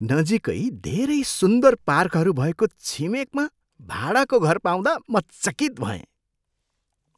नजिकै धेरै सुन्दर पार्कहरू भएको छिमेकमा भाडाको घर पाउँदा म चकित भएँ।